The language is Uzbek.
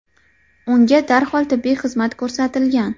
Unga darhol tibbiy xizmat ko‘rsatilgan.